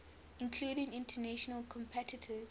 including international competitors